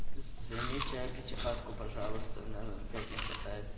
займите пятихатку пожалуйста нам опять нехватает